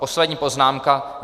Poslední poznámka.